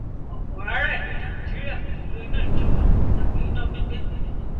ọpọ ará ìlú nàìjíríà kò lo iná ìjọba tàbí iná gbígbé